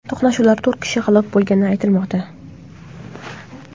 To‘qnashuvlarda to‘rt kishi halok bo‘lgani aytilmoqda .